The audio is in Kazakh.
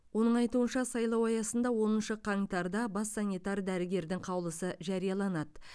оның айтуынша сайлау аясында оныншы қаңтарда бас санитар дәрігердің қаулысы жарияланады